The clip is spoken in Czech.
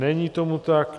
Není tomu tak.